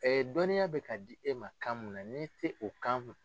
dɔnniya bɛ ka di e ma kan min na n'i tɛ o kan mɛn.